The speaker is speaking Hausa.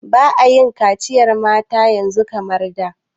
Ba'a yin kaciyar mata yanzu kamar da.